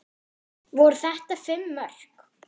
Voru þetta fimm mörk?